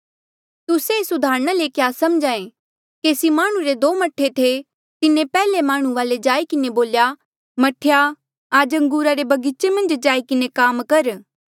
तुस्से एस उदाहरणा ले क्या समझ्हा ऐें केसी माह्णुं रे दो मह्ठे थे तिन्हें पैहले माह्णुं वाले जाई किन्हें बोल्या मह्ठेया आज अंगूरा रे बगीचे मन्झ जाई किन्हें काम कर